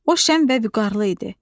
O şən və vüqarlı idi.